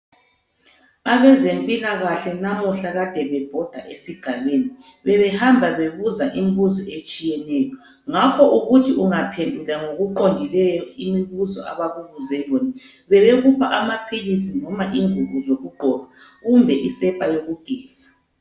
Abezempilakahle namuhla kadebebhoda esigabeni, bebehamba bebuza imibuzo etshiyeneyo. Ngakho ubuthi ungaphendula ngokuqondileyo imibuzo abakubuze yona bebekupha amaphilisi noma ingubo zokugqoka kumbe isepa yokugeza.